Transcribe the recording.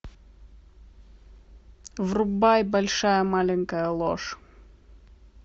врубай большая маленькая ложь